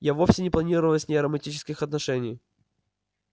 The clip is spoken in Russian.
я вовсе не планировал с ней романтических отношений